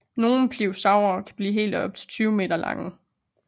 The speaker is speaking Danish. Nogle pliosaurer kunne blive helt op til 20 meter lange